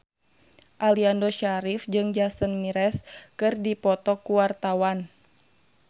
Aliando Syarif jeung Jason Mraz keur dipoto ku wartawan